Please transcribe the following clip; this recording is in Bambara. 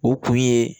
O kun ye